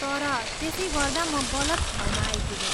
तर त्यसै गर्दा म गलत ठाउँमा आइपुगेँ।